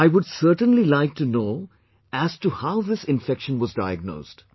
I would certainly like to know as to how this infection was diagnosed